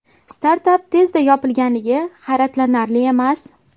Startap tezda yopilganligi hayratlanarli emas.